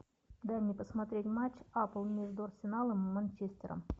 дай мне посмотреть матч апл между арсеналом и манчестером